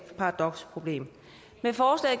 paradoksproblem